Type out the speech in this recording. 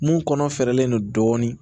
Mun kɔnɔ fɛrɛlen don dɔɔnin